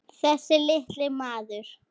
Þessi litli maður.